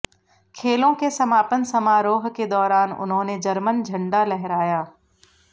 खेलों के समापन समारोह के दौरान उन्होंने जर्मन झंडा लहराया